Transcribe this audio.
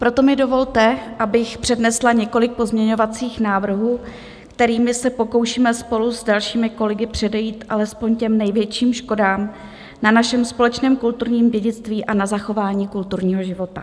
Proto mi dovolte, abych přednesla několik pozměňovacích návrhů, kterými se pokoušíme spolu s dalšími kolegy předejít alespoň těm největším škodám na našem společném kulturním dědictví a na zachování kulturního života.